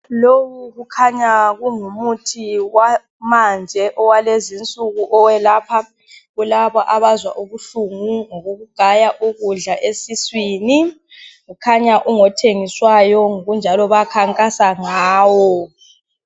Lowu kukhanya kungumuthi wamanje owakulezinsuku oyelapha kulaba abazwa ubuhlungu ngokokugaya ukudla esiswini kukhanya ungothengiswayo ngokunjalo bayakhankasa ngawo